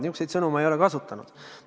Niisuguseid sõnu ei ole ma kasutanud.